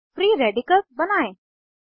अब free radicals बनायें